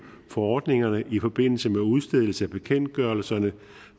for ordningerne i forbindelse med udstedelse af bekendtgørelserne